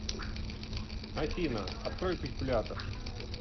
афина открой калькулятор